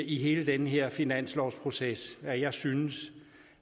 i hele den her finanslovsproces at jeg synes